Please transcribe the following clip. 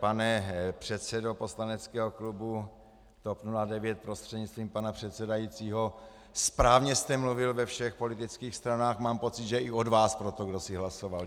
Pane předsedo poslaneckého klubu TOP 09 prostřednictvím pana předsedajícího, správně jste mluvil ve všech politických stranách, mám pocit, že i od vás pro to kdosi hlasoval.